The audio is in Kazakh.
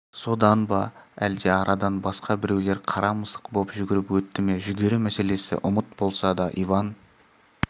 содан ба әлде арадан басқа біреулер қара мысық боп жүгіріп өтті ме жүгері мәселесі ұмыт болса да иван